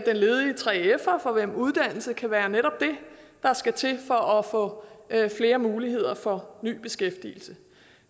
ledige 3fer for hvem uddannelse kan være netop det der skal til for at få flere muligheder for ny beskæftigelse